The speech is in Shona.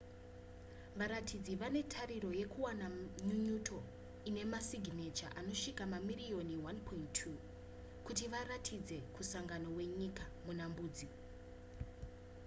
varatidziri vane tariro yekuwana nyunyuto ine masiginecha anosvika mamiriyoni 1.2 kuti vairatidzire kumusangano wenyika wemuna mbudzi